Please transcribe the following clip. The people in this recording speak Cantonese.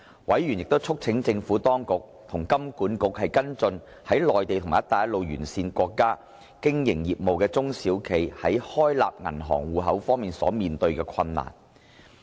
委員亦促請當局與香港金融管理局跟進在內地及"一帶一路"沿線國家經營業務的中小企在開立銀行戶口方面所面對的困難。